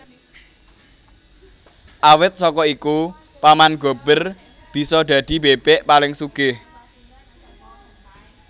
Awit saka iku Paman Gober bisa dadi bebek paling sugih